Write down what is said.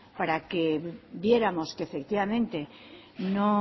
para que viéramos que efectivamente